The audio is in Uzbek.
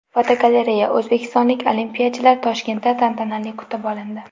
Fotogalereya: O‘zbekistonlik olimpiyachilar Toshkentda tantanali kutib olindi.